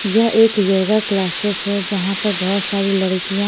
यह एक yoga classes है जहाँ पर बहुत सारी लड़कियाँ--